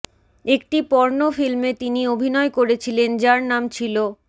একটি পর্ন ফিল্মে তিনি অভিনয় করেছিলেন যার নাম ছিল